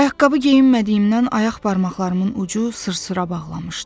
Ayaqqabı geyinmədiyimdən ayaq barmaqlarımın ucu sırsıra bağlamışdı.